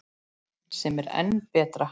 Sem er enn betra.